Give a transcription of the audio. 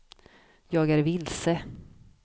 jag är vilse